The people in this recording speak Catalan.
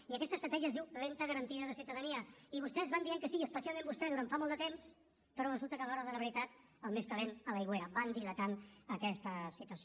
i aquesta estratègia es diu renda garantida de ciutadania i vostès van dient que sí i especialment vostè durant fa molt de temps però resulta que a l’hora de la veritat el més calent a l’aigüera van dilatant aquesta situació